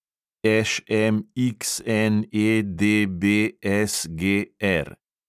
ŠMXNEDBSGR